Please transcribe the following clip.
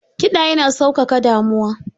Kiɗa yana sauƙaƙa damuwa.